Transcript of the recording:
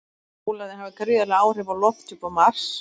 Pólarnir hafa gríðarleg áhrif á lofthjúp Mars.